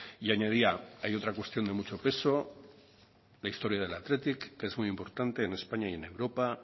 y añadía hay otra cuestión de mucho peso la historia del athletic que es muy importante en españa y en europa